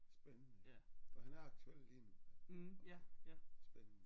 Spændende og han er aktuel lige nu spændende